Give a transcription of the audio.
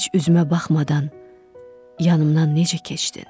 Heç üzümə baxmadan yanımdan necə keçdin?